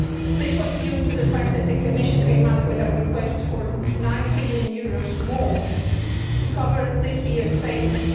This was due to the fact that the Commission came up with a request for EUR 9 billion more to cover this year's payments.